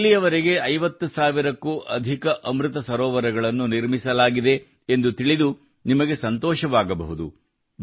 ಇಲ್ಲಿಯವರೆಗೆ 50 ಸಾವಿರಕ್ಕೂ ಅಧಿಕ ಅಮೃತ ಸರೋವರಗಳನ್ನು ನಿರ್ಮಿಸಲಾಗಿದೆ ಎಂದು ತಿಳಿದು ನಿಮಗೆ ಸಂತೋಷವಾಗಬಹುದು